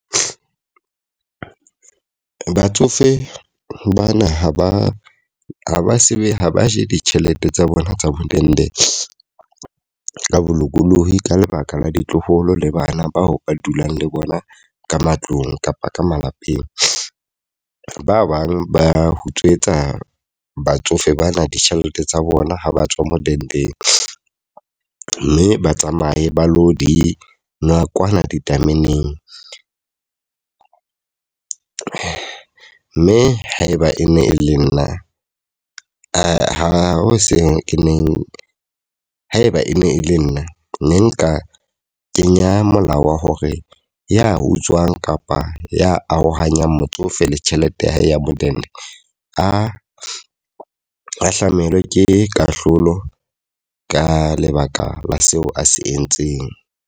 Batsofe bana ha ba ha ba se be ha ba je ditjhelete tsa bona tsa modende ka bolokolohi, ka lebaka la ditloholo le bana bao ba dulang le bona ka matlong kapa ka malapeng. Ba bang ba utswetsa batsofe bana ditjhelete tsa bona ha ba tswa modendeng. Mme ba tsamaye ba lo di nwa kwana ditameneng. Mme haeba e ne e le nna ha ho seng e neng haeba e ne e le nna ne nka kenya molao wa hore ya utswang kapa ya arohanya motsofe le tjhelete ya hae ya modende, a ahlamelwe ke kahlolo ka lebaka la seo a se entseng.